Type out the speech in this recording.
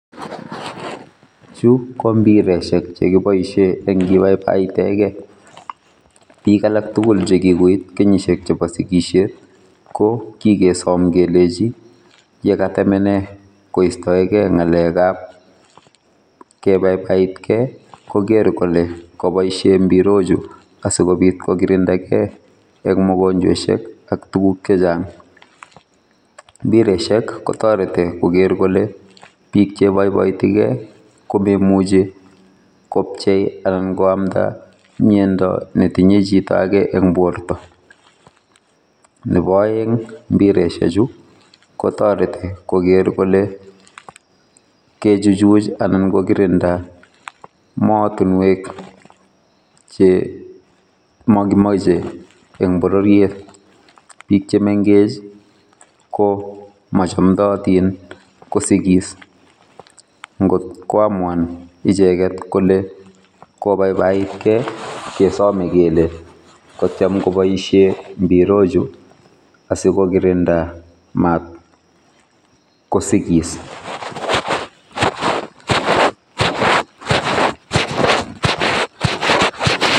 Chu kombiresiek chekiboisie enkibaibaitegei. Biik alak tugul chekikoit kenyisiek chebo sigisiet kokikesom kelechi yekatemene koistoe gei ngalekab kebaibaitkei kogeer kole koboisie mbirochu asikobiit kokirindaekei eng mogonjwesiek ak tuguk chechang. Mbiresiek kotoreti kokeer kole biik cheiboiboitigei komemuchi kopchei anan koamda miando netinye chitoake eng borto. Nebo aeng mbireshechu kotoreti koker kole kechuchuch[i] anak kokirinda mootunwek che makimoje eng bororiet biik che mengech[i] ko machomdotin kosikis ngotkwamuan icheget kole kobaibaitkei kesome kele katyem koboisie mbirochu asikokirinda matkosigis.